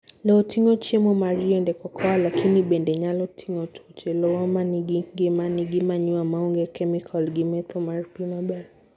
Lowo tingo chiemo mar yiend cocoa, lakini bende nyalo tingo tuoche. "lowo manigi ngima" nigi manure maonge chemika gi metho mar pii maber.